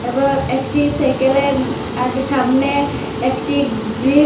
এবার একটি সাইকেলের ইম আগে সামনে একটি ব্রিকস--